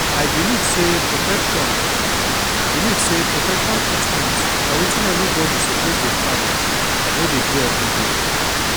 i believe say protection believe say protection treatment na wetin everybody suppose dey find wey dey do everyday